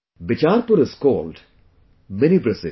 Bicharpur is called Mini Brazil